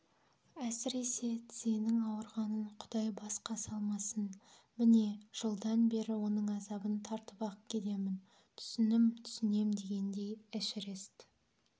әсіресе тізенің ауырғанын құдай басқа салмасын міне жылдан бері оның азабын тартып-ақ келемін түсінм-түсінем дегендей эшерест